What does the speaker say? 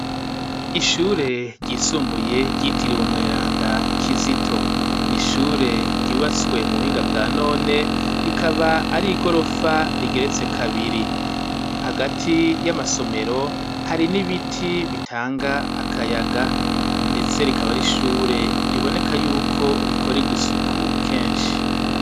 Ishure ryisumbuye ryitiriwe mweranda kizito ,n'ishure ryubatswe mu buhinga bwa none ,rikaba ari igorofa rigeretse kabiri, hagati y'amasomero hari n'ibiti bitanga akayaga ,ndetse rikaba r 'ishure riboneka yuko rikora isuku kenshi.